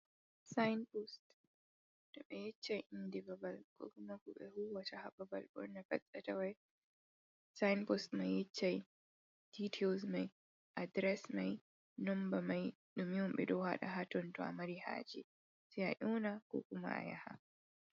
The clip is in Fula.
Sainpost! To ɓe yeccai inde babal, ko kuma ko ɓe huuwata haa babal, ɓurna pat ɓe tawai, sainpost mai yeccai ditails mai, adres mai, nonba mai. ɗume on ɓe ɗo waɗa haa ton, to a mari haaje sai a ƴoona ko kuma a yaha.